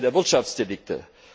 der Wirtschaftsdelikte.